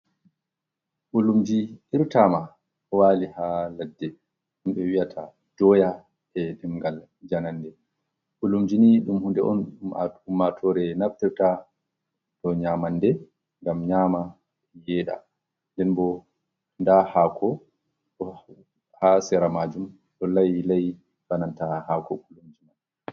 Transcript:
Ɓulumji irta ma wali ha ladde ɗun ɓe wiyata doya e dingal janande, ɓulumjini ni ɗum hunde on nde aummatore naftorta dow nyamande ngam nyama yeɗa, nden bo nda hako ha sera majum ɗon lai lai be nanta hako bulumji mai.